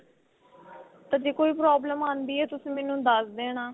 ਤਾਂ ਜੇ ਕੋਈ problem ਆਂਦੀ ਏ ਤੁਸੀਂ ਮੈਂਨੂੰ ਦੱਸ ਦੇਣਾ